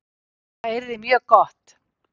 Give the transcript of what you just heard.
Það yrði mjög gott